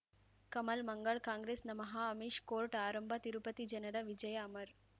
ಕಮಲ್ ಮಂಗಳ್ ಕಾಂಗ್ರೆಸ್ ನಮಃ ಅಮಿಷ್ ಕೋರ್ಟ್ ಆರಂಭ ತಿರುಪತಿ ಜನರ ವಿಜಯ ಅಮರ್